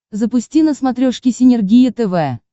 запусти на смотрешке синергия тв